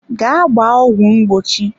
Gaa gbaa ọgwụ mgbochi.